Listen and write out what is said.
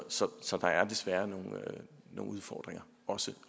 så så der er desværre nogle udfordringer også